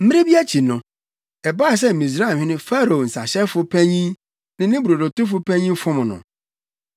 Mmere bi akyi no, ɛbaa sɛ Misraimhene Farao nsahyɛfo panyin ne ne brodotofo panyin fom no.